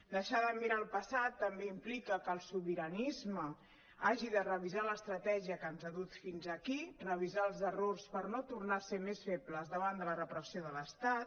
deixar de mirar el passat també implica que el sobi·ranisme hagi de revisar l’estratègia que ens ha dut fins aquí revisar els errors per no tornar a ser més febles davant de la repressió de l’estat